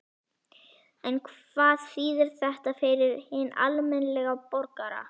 En hvað þýðir þetta fyrir hinn almenna borgara?